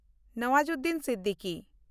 Nawazuddin Siddiqui